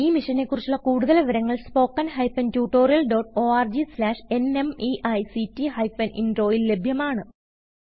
ഈ മിഷനെ കുറിച്ചുള്ള കുടുതൽ വിവരങ്ങൾ spoken hyphen tutorial dot org slash ന്മെയ്ക്ട് ഹൈഫൻ Introൽ ലഭ്യമാണ്